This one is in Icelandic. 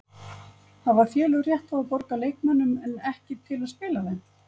Hafa félög rétt til að borga leikmönnum en ekki til að spila þeim?